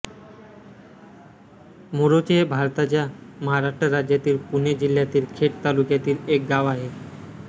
मोरोशी हे भारताच्या महाराष्ट्र राज्यातील पुणे जिल्ह्यातील खेड तालुक्यातील एक गाव आहे